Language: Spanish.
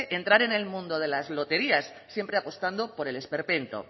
entrar en el mundo de las loterías siempre apostando por el esperpento